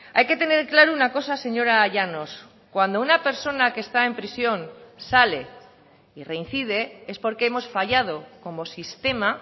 hay que tener claro una cosa señora llanos cuando una persona que está en prisión sale y reincide es porque hemos fallado como sistema